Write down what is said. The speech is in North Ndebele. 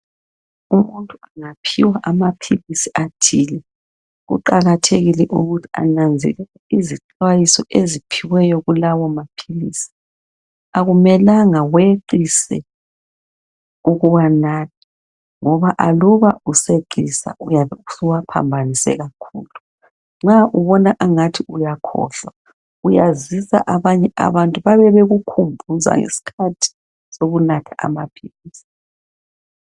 Umuntu engaphiwa amaphilisi athile kuqakathekile ukuthi ananzelele izixwayiso eziphiweyo kulawo maphilisi akumelanga ngoba aluba useqisa suwaphabhanise kakhulu nxa ubona ukuthi uyakhohlwa uyazisa abanye abantu babe bekukhumbuza ngesikhathi sokunatha amaphilisi